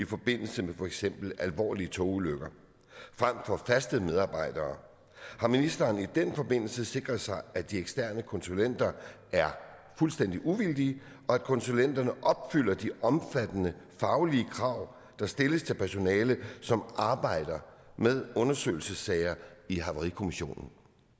i forbindelse med for eksempel alvorlige togulykker frem for faste medarbejdere har ministeren i den forbindelse sikret sig at de eksterne konsulenter er fuldstændig uvildige og at konsulenterne opfylder de omfattende faglige krav der stilles til personale som arbejder med undersøgelsessager i havarikommissionen